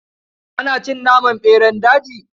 Ana cin naman ɓeran daji.